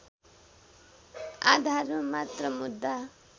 आधारमा मात्र मुद्दा